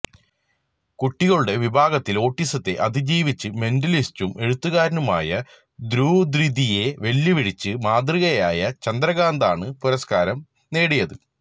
കുട്ടികളുടെ വിഭാഗത്തില് ഓട്ടിസത്തെ അതിജീവിച്ച് മെന്റലിസ്റ്റും എഴുത്തുകാരനുമായി ദുര്വിധിയെ വെല്ലുവിളിച്ച് മാതൃകയായ ചന്ദ്രകാന്താണ് പുരസ്കാരം നേടിയത്